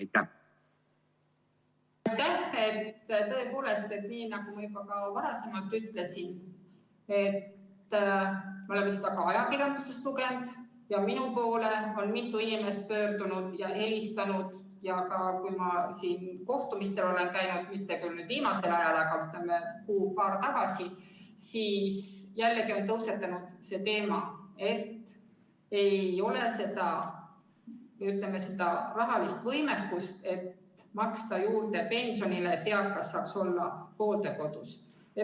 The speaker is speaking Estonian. Tõepoolest, nii nagu ma juba ka varem ütlesin, me oleme ajakirjandusest lugenud – ka minu poole on mitu inimest pöördunud, kui ma olen kohtumistel käinud, või mulle on helistatud, mitte küll nüüd viimasel ajal, vaid kuu või paar tagasi –, on tõusetunud see teema, et ei ole seda, ütleme, rahalist võimekust maksta pensionile juurde, selleks et eakas saaks olla hooldekodus.